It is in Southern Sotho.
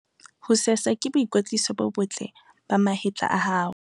ho sesa ke boikwetliso bo botle ba mahetla a hao